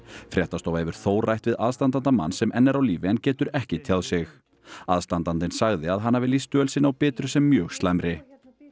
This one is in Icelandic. fréttastofa hefur þó rætt við aðstandanda manns sem enn er á lífi en getur ekki tjáð sig aðstandandinn sagði að hann hafi lýst dvöl sinni á Bitru sem mjög slæmri